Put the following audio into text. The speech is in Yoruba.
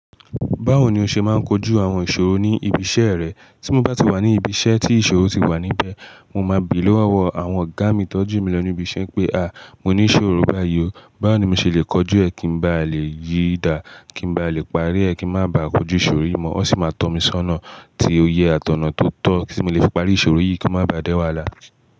Báwo ni o ṣe máa ń kojú àwọn ìṣòro ní ibi iṣẹ́ rẹ? Tí mo bá ti wà ní ibi iṣẹ́ tí ìṣòro ti wà níbẹ̀, mo máa bì lówó ọwọ́ àwọn ògá mi tọ́jú mi lọ ni ibi iṣẹ́ pé, à, mo ní ìṣòro báyìí o, báwo ni mo ṣe lè kojú ẹ kí ń ba lè yí dàá, kí ń bá lè parí ẹ kí ń má ba à kojú ìṣòro yìí mọ́. Wọn sì máa tọ́ mi sọ́nà tí ó yẹ àtọ̀nà tó tọ́ tí mo lè fi parí ìṣòro yìí kí ó má ba à di wàhálà.